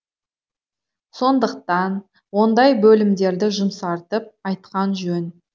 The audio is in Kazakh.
сондықтан ондай бөлімдерді жұмсартып айтқан жөн